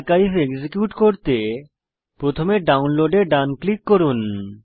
archive execute করতে প্রথমে download এ ডান ক্লিক করুন